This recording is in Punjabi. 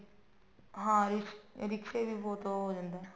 ਹਾਂ ਇਹ ਰਿਕਸ਼ੇ ਵੀ ਬਹੁਤ ਉਹ ਜਾਂਦਾ